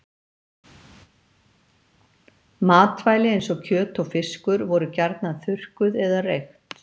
Matvæli eins og kjöt og fiskur voru gjarnan þurrkuð eða reykt.